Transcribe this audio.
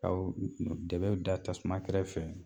Ka dɛbɛw da tasuma kɛrɛfɛ